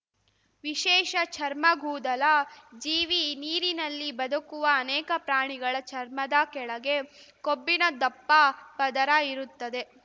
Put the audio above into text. ವಿಶೇಷ ಚರ್ಮಗೂದಲ ಜೀವಿ ನೀರಿನಲ್ಲಿ ಬದುಕುವ ಅನೇಕ ಪ್ರಾಣಿಗಳ ಚರ್ಮದ ಕೆಳಗೆ ಕೊಬ್ಬಿನ ದಪ್ಪ ಪದರ ಇರುತ್ತದೆ